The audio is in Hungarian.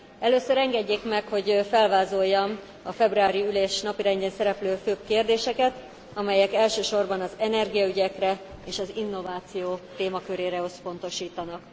Először engedjék meg, hogy felvázoljam a februári ülés napirendjén szereplő főbb kérdéseket, amelyek elsősorban az energiaügyekre és az innováció témakörére összpontosítanak.